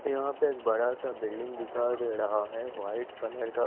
यहा पे एक बड़ा सा बिल्डिंग दिखाई दे रहा है वाइट कलर का--